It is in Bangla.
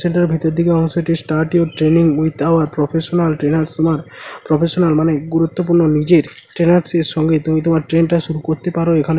সেন্টার -এর ভেতর দিকে অংশটি start your training with our professional trainers তোমার প্রফেশনাল মানে গুরুত্বপূর্ণ নিজের ট্রেনার দের সঙ্গে তুমি তোমার ট্রেন টা শুরু করতে পারো। এখানে--